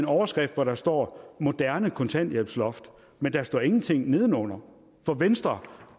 overskrift hvor der står moderne kontanthjælpsloft men der står ingenting nedenunder for venstre